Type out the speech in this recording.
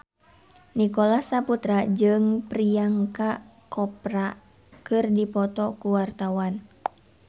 Nicholas Saputra jeung Priyanka Chopra keur dipoto ku wartawan